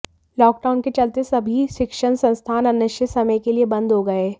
lockdown के चलते सभी शिक्षण संस्थान अनिश्चित समय के लिए बंद हो गए